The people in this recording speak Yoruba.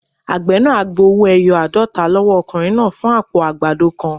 Àgbẹ̀ náà á gba owó-ẹyọ aadota lọ́wọ́ ọkùnrin náà fún àpò àgbàdo kan.